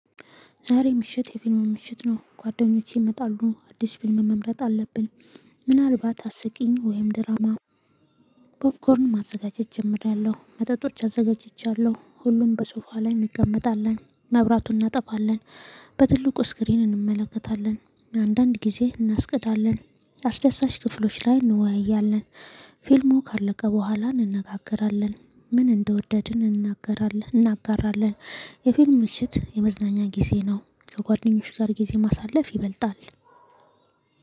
ዛሬ ምሽት የፊልሙ ምሽት ነው ጓደኞቼ ይመጣሉ አዲስ ፊልም መምረጥ አለብን። ምናልባት አስቂኝ ወይም ድራማ። ፖፕኮርን ማዘጋጀት ጀምሬያለሁ መጠጦች አዘጋጅቻለሁ ሁሉም በሶፋ ላይ እንቀመጣለን። መብራቱን እናጠፋለን። በትልቁ ስክሪን እንመለከታለን። አንዳንድ ጊዜ እናስቀዳለን። አስደሳች ክፍሎች ላይ እንወያያለን። ፊልሙ ካለቀ በኋላ እንነጋገራለን። ምን እንደወደድን እንናገራለን እናጋራለን። የፊልም ምሽት የመዝናኛ ጊዜ ነው። ከጓደኞች ጋር ጊዜ ማሳለፍ ይበልጣል